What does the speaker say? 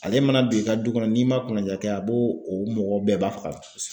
Ale mana don i ka du kɔnɔ n'i man kunanja kɛ a bo o mɔgɔ bɛɛ ba faga.